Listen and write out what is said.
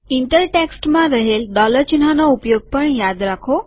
inter ટેક્સ્ટમાં રહેલ dollar ચિહ્નનો ઉપયોગ પણ યાદ રાખો